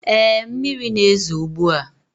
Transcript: Ee, mmiri na-ezo ugbu a.